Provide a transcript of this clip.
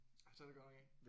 Nej det er det godt nok ikke